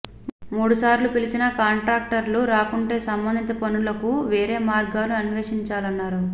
మూడుసార్లు పిలిచినా కాంట్రాక్టర్లు రాకుంటే సంబంధిత పనులకు వేరే మార్గాలు అనే్వషించాలన్నారు